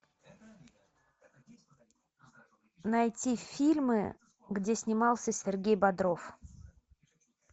найти фильмы где снимался сергей бодров